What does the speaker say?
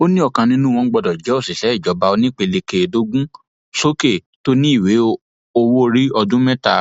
ó ní ọkan nínú wọn gbọdọ jẹ òṣìṣẹ ìjọba onípele kẹẹẹdógún sókè tó ní ìwé owóorí ọdún mẹta